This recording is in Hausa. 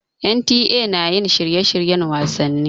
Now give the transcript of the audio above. NTA na yin shirye-shiryen wasanni.